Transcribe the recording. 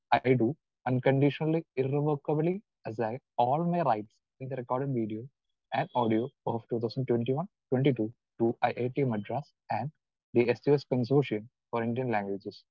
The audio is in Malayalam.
Speaker 2 I do unconditionally irrevocably all my rights in the recording video and audio of two thousand twenty one twenty two to I I T Madras and the S two S consortium for Indian languages.